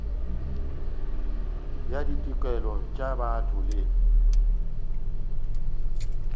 ya ditokelo tša botho le